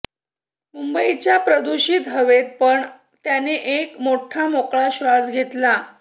मुंबईच्या प्रदुषित हवेत पण त्याने एक मोठठा मोकळा श्वास घेतला